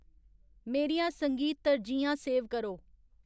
मेरियां संगीत तरजीहां सेव करो